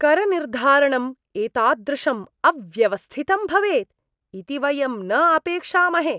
करनिर्धारणं एतादृशं अव्यवस्थितं भवेत् इति वयं न अपेक्षामहे!